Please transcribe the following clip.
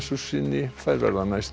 sinni en verða næst